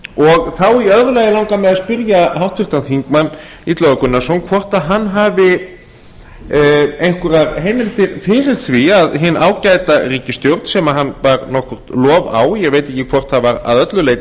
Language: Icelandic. og þá í öðru lagi langar mig að spyrja háttvirtan þingmann illuga gunnarsson hvort hann hafi einhverjar heimildir fyrir því að hin ágæta ríkisstjórn sem hann bar nokkurt lof á ég veit ekki hvort það var að öllu leyti